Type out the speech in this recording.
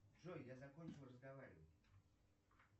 джой я закончил разговаривать